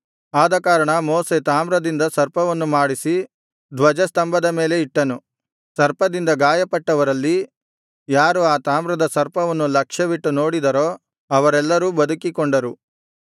ಆದಕಾರಣ ಮೋಶೆ ತಾಮ್ರದಿಂದ ಸರ್ಪವನ್ನು ಮಾಡಿಸಿ ಧ್ವಜಸ್ತಂಭದ ಮೇಲೆ ಇಟ್ಟನು ಸರ್ಪದಿಂದ ಗಾಯಪಟ್ಟವರಲ್ಲಿ ಯಾರು ಆ ತಾಮ್ರದ ಸರ್ಪವನ್ನು ಲಕ್ಷ್ಯವಿಟ್ಟು ನೋಡಿದರೋ ಅವರೆಲ್ಲರೂ ಬದುಕಿಕೊಂಡರು